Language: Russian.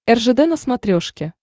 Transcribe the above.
ржд на смотрешке